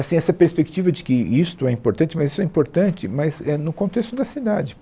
Assim, essa perspectiva de que isto é importante, mas isso é importante, mas, é, no contexto da cidade.